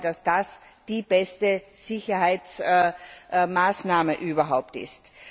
Ich glaube, dass das die beste Sicherheitsmaßnahme überhaupt ist.